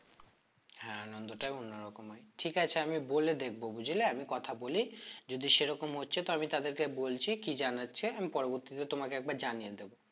হ্যাঁ আনন্দটা অন্যরকম হয় ঠিক আছে আমি বলে দেখবো বুঝলে আমি কথা বলি যদি সেরকম হচ্ছে তো আমি তাদেরকে বলছি কি জানাচ্ছে আমি পরবর্তীতে তোমাকে একবার জানিয়ে দেব